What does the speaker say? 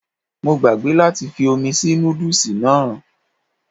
Mo gbàgbé láti fi omi sí nódùsì náà